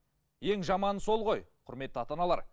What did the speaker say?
ең жаманы сол ғой құрметті ата аналар